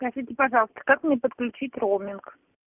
скажите пожалуйста как мне подключить роуминг